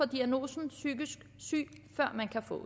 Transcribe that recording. diagnosen psykisk syg før man kan få